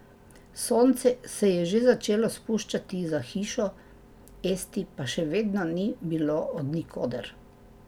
Sonce se je že začelo spuščati za hišo, Esti pa še vedno ni bilo od nikoder.